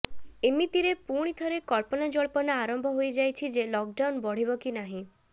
ଏମିତିରେ ପୁଣି ଥରେ କଳ୍ପନା ଜଳ୍ପନା ଆରମ୍ଭ ହୋଇ ଯାଇଛି ଯେ ଲକ୍ଡାଉନ୍ ବଢିବ କି ନାହିଁ